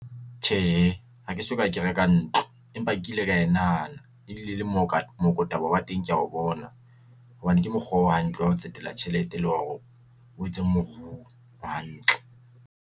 Tjhe, hake soka ke reka ntlo empa ke ile ka e nahana e bile le mo ka mooko taba ya teng ke ya bona hobane ke mokgwa o hantle wa ho tsetela tjhelete le hore o etse moruo o hantle.